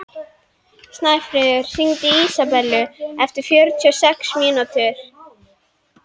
Steinfríður, hringdu í Ísabellu eftir fjörutíu og sex mínútur.